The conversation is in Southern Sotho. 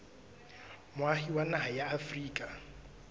moahi wa naha ya afrika